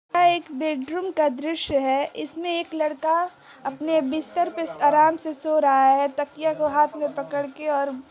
यह एक बेडरूम का दृश्य है इसमें एक लड़का अपने बिस्तर पे स-आराम से सो रहा है तकिया को हाथ में पकड़ के और-- ।